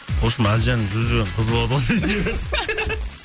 вообщем әлжанның жүріп жүрген қызы болады ғой